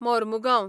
Mormugao